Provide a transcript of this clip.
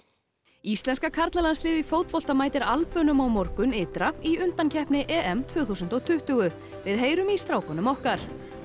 íslenska karlalandsliðið í fótbolta mætir Albönum á morgun ytra í undankeppni tvö þúsund og tuttugu við heyrum í strákunum okkar